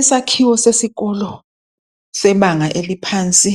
Isakhiwo sesikolo sebanga eliphansi